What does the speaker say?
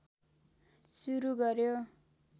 सुरु गर्यो